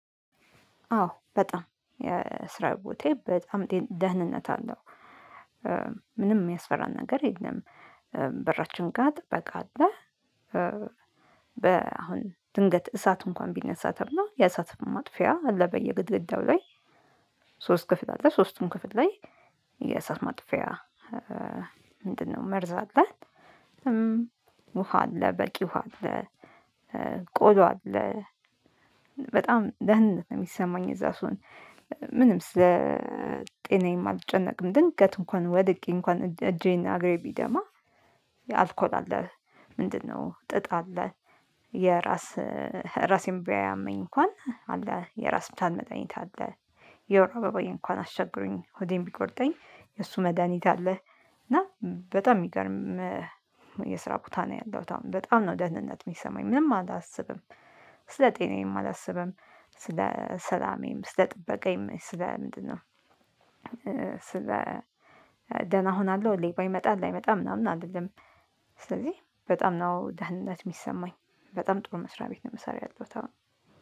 አዎ በጣም የስራ ቦታዬ በጣም ደህንነት አለው። ምንም የሚያስፈራን ነገር የለም። በራችን ጋር ጥበቃ አለ። በ አሁን ድንገት እሳት እንኳን ቢነሳ ተብሎ የአሳት ማጥፊያ አለ በየግድግዳው ላይ። ሶስት ክፍል አለ ሶስቱም ክፍል ላይ የእሳት ማጥፊያ። ምንድነው? መርዝ አለን። ውሃ አለ በቂ ውሃ አለ። ቆዳ አለ በጣም ደህንነት ነው የሚሰማኝ እዛ ሰው። ምንም ስለ ጤናዬም አልጨነቅም ድንገት እንኳን ወድቄ እንኳን እጄና አግሬ ቢደማ አልኮል አለ። ምንድነው? ጥጥ አለ። የራስ ራሴን ቢያመኝ እንኳን አለ የራስ ፕላን መጠነኛ አለ። የወር አበባዬ እንኳን አስቸግሮኝ ሆዴን ቢቆርጠኝ የእሱ መድሃኒት አለህ? እና በጣም የሚገርም የስራ ቦታ ነው። ያለው አሁን በጣም ነው ደህንነት የሚሰማኝ ምንም አላስብም። ስለ ጤናዬም አላስብም። ስለ ሰላሜም ስለ ጥበቃዬም ስለ ምንድነው? ስለ ደህና እሆናለሁ ሌባ ይመጣል አይመጣም ምናምን አይደለም። ስለዚህ በጣም ነው ደህነት የሚሰማኝ በጣም ጥሩ መስሪያ ቤት ነው። የምሰራው ያለው ታውን